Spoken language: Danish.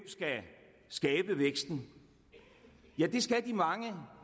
skal skabe væksten ja det skal de mange